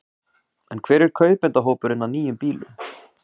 En hver er kaupendahópurinn á nýjum bílum?